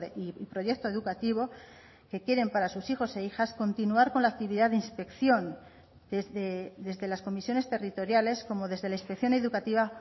y proyecto educativo que quieren para sus hijos e hijas continuar con la actividad de inspección desde las comisiones territoriales como desde la inspección educativa